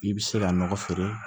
I bɛ se ka nɔgɔ feere